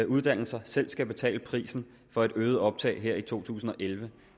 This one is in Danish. uddannelser selv skal betale prisen for et øget optag her i to tusind og elleve